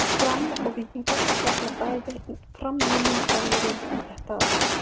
Fram og Víkingur tefla bæði fram nýjum þjálfurum þetta árið.